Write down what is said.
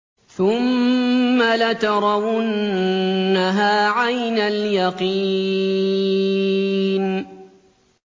ثُمَّ لَتَرَوُنَّهَا عَيْنَ الْيَقِينِ